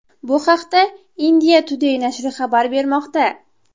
Bu haqda India Today nashri xabar bermoqda .